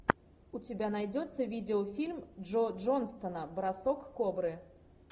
у тебя найдется видеофильм джо джонстона бросок кобры